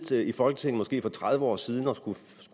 siddet i folketinget for tredive år siden og har skullet